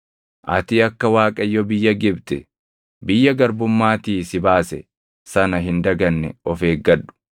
ati akka Waaqayyo biyya Gibxi, biyya garbummaatii si baase sana hin daganne of eeggadhu.